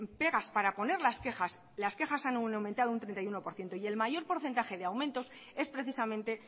pegas para poner las quejas las quejas han aumentado un treinta y uno por ciento y el mayor porcentaje de aumentos es precisamente